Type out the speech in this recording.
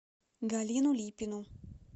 галину липину